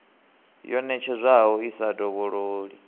yo ṋetshedzwaho i sa dovhololi